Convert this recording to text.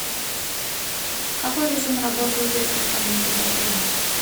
какой режим работы у детской комнаты в отеле